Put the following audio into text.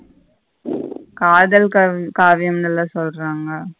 காதல் காவியங்கள சொல்லுறாங்க.